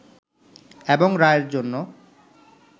এবং রায়ের জন্য